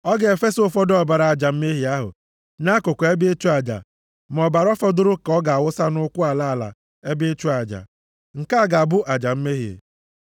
Ọ ga-efesa ụfọdụ ọbara aja mmehie ahụ nʼakụkụ ebe ịchụ aja, ma ọbara fọdụrụ ka ọ ga-awụsa nʼụkwụ ala ala ebe ịchụ aja. Nke a ga-abụ aja mmehie.